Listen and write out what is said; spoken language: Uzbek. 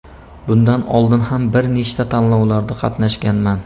Bundan oldin ham bir nechta tanlovlarda qatnashganman.